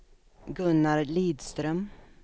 Gunnar Lidström